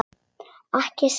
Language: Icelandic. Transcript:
Ekki særa.